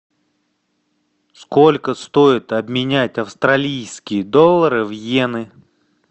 сколько стоит обменять австралийские доллары в йены